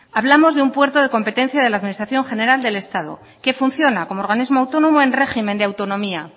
hablamos de un puerto de competencia de la administración general del estado que funciona como organismo autónomo en régimen de autonomía